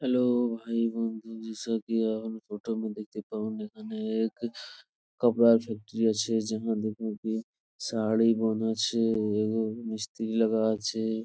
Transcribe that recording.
Hello ভাই বন্ধু photo মে দেখতে পাবেন এখানে এক কাপড়া ফ্যাক্টরি আছে | শাড়ি বানাচ্ছে মিস্ত্রি লাগা আছে।